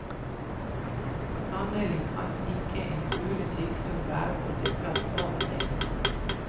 Sannelig kan ikke en smule sykdom være på sin plass av og til.